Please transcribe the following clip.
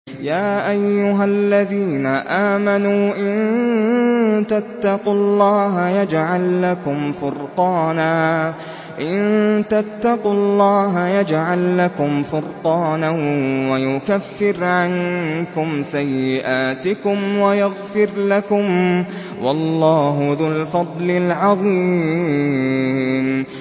يَا أَيُّهَا الَّذِينَ آمَنُوا إِن تَتَّقُوا اللَّهَ يَجْعَل لَّكُمْ فُرْقَانًا وَيُكَفِّرْ عَنكُمْ سَيِّئَاتِكُمْ وَيَغْفِرْ لَكُمْ ۗ وَاللَّهُ ذُو الْفَضْلِ الْعَظِيمِ